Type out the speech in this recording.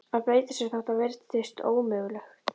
Að breyta sér, þótt það virðist ómögulegt.